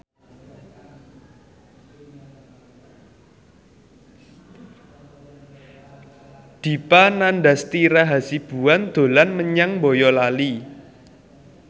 Dipa Nandastyra Hasibuan dolan menyang Boyolali